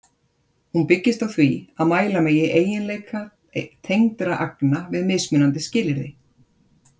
Hún byggist á því að mæla megi eiginleika tengdra agna við mismunandi skilyrði.